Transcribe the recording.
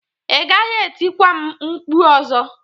Ị gaghị etikwa m mkpu ọzọ!